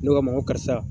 Ne k'a ma ko karisa